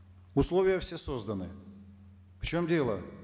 условия все созданы в чем дело